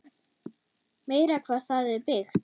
Meira hvað það er byggt!